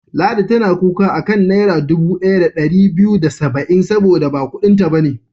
Ladi tana kuka a kan Naira dubu ɗaya da ɗari biyu da saba'in saboda ba kuɗinta ba ne.